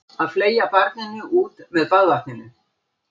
Að fleygja barninu út með baðvatninu